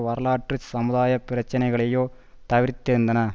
வரலாற்று சமுதாய பிரச்சினைகளையோ தவிர்த்திருந்தன